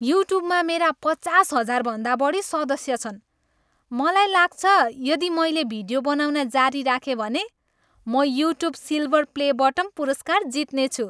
युट्युबमा मेरा पचास हजारभन्दा बढी सदस्य छन्। मलाई लाग्छ, यदि मैले भिडियो बनाउन जारी राखेँ भने, म युट्युब सिल्भर प्ले बटन पुरस्कार जित्नेछु।